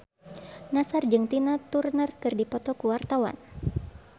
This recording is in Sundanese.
Nassar jeung Tina Turner keur dipoto ku wartawan